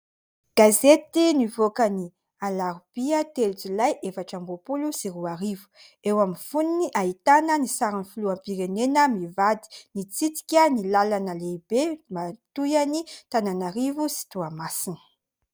Gazety nivoaka ny alarobia telo jolay efatra amby roapolo sy roa arivo ; eo amin'ny fonony ahitana ny sarin'ny filoham-pirenena mivady mitsidika ny lalana lehibe mampitohy an'i Antananarivo sy Toamasina.